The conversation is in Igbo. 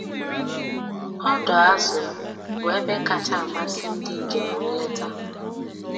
Ọdọ azụ bụ ebe kacha amasị ndị njem nleta